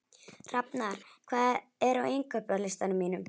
Hafnar, hvað er á innkaupalistanum mínum?